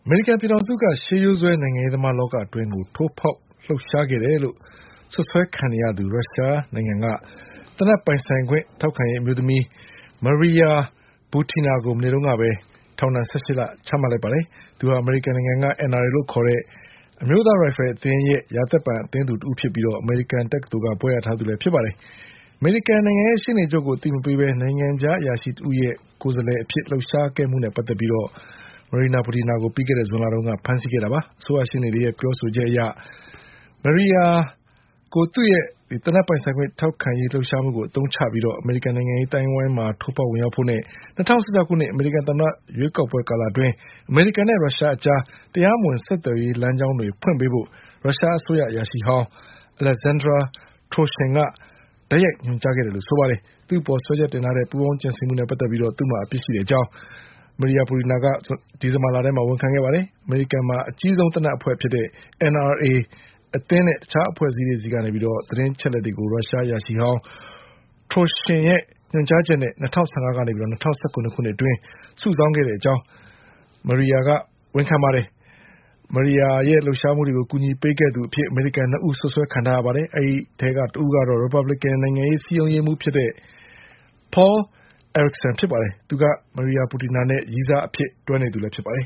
မေရိကန်ပြည်ထောင်စုက ရှေးရိုးစွဲ နိုင်ငံရေးသမားလောကအတွင်း ထိုးဖေါက်လှုပ်ရှား ခဲ့တဲ့သူလို့ စွပ်စွဲခံ နေရတဲ့ ရုရှားနိုင်ငံက သေနတ်ပိုင်ဆိုင်ခွင့် ထောက်ခံရေး အမျိုးသမီး Maria Butina ကို မနေ့ကပဲ ထောင်ဒဏ် ၁၈ လချမှတ်လိုက်ပါတယ်။ သူဟာ အမေရိကန်က NRA လို့ခေါ်တဲ့ အမျိုးသား ရိုင်ဖယ်အသင်းရဲ့ ရာသက်ပန် အသင်း သူတဦးဖြစ်ပြီး အမေရိကန်တက္ကသိုလ်က ဘွဲ့ရထားသူလည်းဖြစ်ပါတယ်။ အမေရိကန်နိုင်ငံရဲ့ရှေ့နေချုပ်ကိုအသိမပေးဘဲ နိုင်ငံခြား အရာရှိတဦးရဲ့ကိုယ်စားလှယ် အဖြစ် လှုပ်ရှားခဲ့မှုနဲ့ပတ်သက်ပြီး Maria Butinaကို ပြီးခဲ့တဲ့ ဇူလိုင်လက ဖမ်းဆီးခဲ့တာပါ။ အစိုးရရှေ့နေတွေရဲ့ပြောဆိုချက်အရ Maria Butinaကိုသူ့ရဲ့ သေနတ်ပိုင်ဆိုင်ခွင့် ထောက်ခံရေး လှုပ်ရှားမှုကို အသုံးချပြီး အမေရိကန်နိုင်ငံရေးအသိုင်းအဝိုင်းမှာ ထိုးဖေါက် ဝင်ရောက်ဖို့နဲ့ ၂၀၁၆ ခု အမေရိကန်သမ္မတ ရွေးကောက်ပွဲ ကာလအတွင်း အမေရိကန်နဲ့ ရုရှားအကြား တရားမဝင် ဆက်သွယ်ရေးလမ်းကြောင်းတွေ ဖွင့်ပေးဖို့ ရုရှားအစိုးရ အရာရှိဟောင်း Alexander Torshin ကတိုက်ရိုက်ညွန် ကြားခဲ့တာလို့ ဆိုပါတယ်။ သူ့အပေါ် စွဲချက်တင်ထားတဲ့ ပူးပေါင်းကြံစည်မှုနဲ့ပတ်သက်ပြီး သူ့မှာအပြစ်ရှိကြောင်း Maria Butina က ဒီဇင်ဘာ လမှာဝန်ခံခဲ့ပါတယ်။ အမေရိကန်မှာ အကြီးဆုံးသေနတ်အဖွဲ့ဖြစ်တဲ့ NRA အသင်းနဲ့ တခြားအဖွဲ့ အစည်းတွေ ဆီက သတင်း အချက် အလက်တွေကို ရုရှားအရာရှိဟောင်း Torshin ရဲ့ညွှန်ကြားချက်နဲ့ ၂၀၁၅ ကနေ ၂၀၁၇ ခုနှစ်အတွင်း စုဆောင်းခဲ့ကြောင်းMaria Butina က ဝန်ခံခဲ့ပါတယ်။ Maria Butina ရဲ့လှုပ်ရှားမှုတွေကိုကူညီပေးခဲ့သူအဖြစ် အမေရိကန် ၂ ဦး စွပ်စွဲခံထားရ ပါတယ်။ အဲဒီအထဲက တဦးကတော့ ရီပတ်ဘလစ်ကန်နိုင်ငံရေး စည်းရုံးရေးမှူးဖြစ်တဲ့ Paul Erickson ဖြစ်ပါတယ်။ သူက Maria Butina နဲ့ရည်းစားအဖြစ် တွဲနေသူဖြစ်ပါတယ်